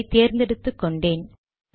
அதை தேர்ந்தெடுத்துக் கொண்டேன்